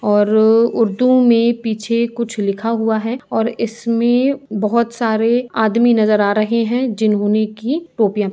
और उर्दू में पीछे कुछ लिखा हुआ है और इसमें बहुत सारे आदमी भी नजर आ रहे हैं जिन्होंने की टोपियाँ पहनी हैं।